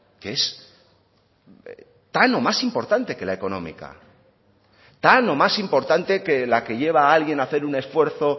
que es tan o más importante que la económica tan o más importante que la que lleva a alguien hacer un esfuerzo